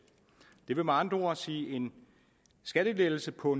det vil med andre ord sige en skattelettelse på